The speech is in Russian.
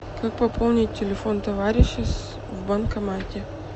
как пополнить телефон товарища в банкомате